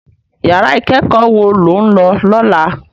Iyàrá ikèékò wó ló n lò lòlá?